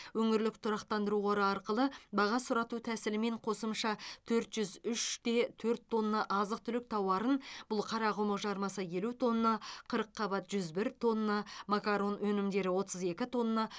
өңірлік тұрақтандыру қоры арқылы баға сұрату тәсілімен қосымша төрт жүз үш те төрт тонна азық түлік тауарын бұл қарақұмық жармасы елу тонна қырыққабат жүз бір тонна макарон өнімдері отыз екі тонна